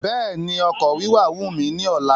Béèni ọkọ̀ wíwà wù mí ní ọ̀la